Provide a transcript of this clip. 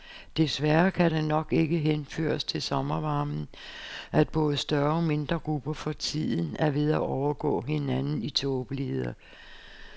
Desværre kan det nok ikke henføres til sommervarmen, at både større og mindre grupper for tiden er ved at overgå hinanden i tåbeligheder.